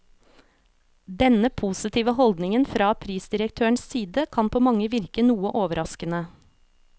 Denne positive holdningen fra prisdirektørens side kan på mange virke noe overraskende.